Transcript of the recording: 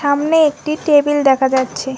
সামনে একটি টেবিল দেখা যাচ্ছে।